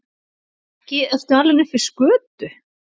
Ekki ertu alinn upp við skötu?